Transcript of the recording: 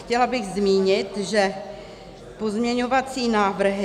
Chtěla bych zmínit, že pozměňovací návrhy -